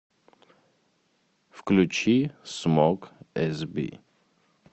включи смок эсби